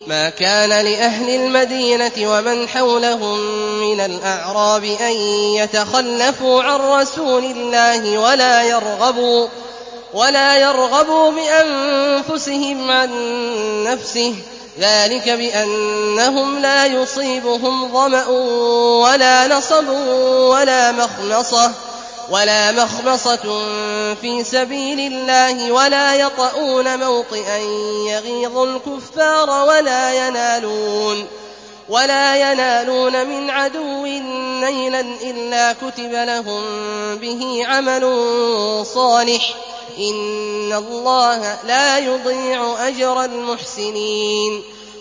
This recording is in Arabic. مَا كَانَ لِأَهْلِ الْمَدِينَةِ وَمَنْ حَوْلَهُم مِّنَ الْأَعْرَابِ أَن يَتَخَلَّفُوا عَن رَّسُولِ اللَّهِ وَلَا يَرْغَبُوا بِأَنفُسِهِمْ عَن نَّفْسِهِ ۚ ذَٰلِكَ بِأَنَّهُمْ لَا يُصِيبُهُمْ ظَمَأٌ وَلَا نَصَبٌ وَلَا مَخْمَصَةٌ فِي سَبِيلِ اللَّهِ وَلَا يَطَئُونَ مَوْطِئًا يَغِيظُ الْكُفَّارَ وَلَا يَنَالُونَ مِنْ عَدُوٍّ نَّيْلًا إِلَّا كُتِبَ لَهُم بِهِ عَمَلٌ صَالِحٌ ۚ إِنَّ اللَّهَ لَا يُضِيعُ أَجْرَ الْمُحْسِنِينَ